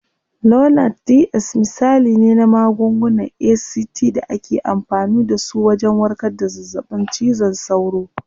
Lonart DS misali ne na magungunan ACT da ake amfani dasu wajen warkar da zazzaɓin cizon sauro.